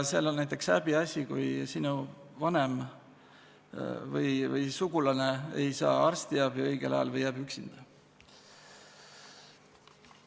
Seal on häbiasi, kui sinu vanem või muu sugulane ei saa arstiabi õigel ajal või jääb üksinda.